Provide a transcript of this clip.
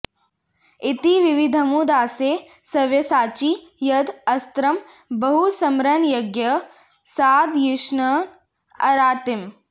इति विविधमुदासे सव्यसाची यद् अस्त्रं बहुसमरनयज्ञः सादयिष्यन्न् अरातिम्